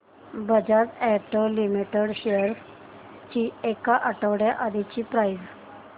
Bajaj auto limited shares ची एक आठवड्या आधीची प्राइस